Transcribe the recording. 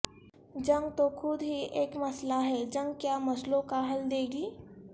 جنگ تو خود ہی ایک مسئلہ ہے جنگ کیا مسئلوں کا حل دے گی